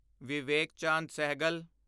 Vivek Chand Sehgal